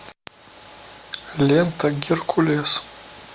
лента геркулес